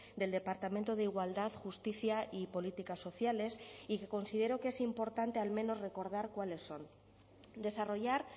del departamento de igualdad justicia y políticas sociales y que considero que es importante al menos recordar cuáles son desarrollar